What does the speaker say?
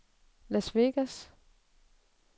Las Vegas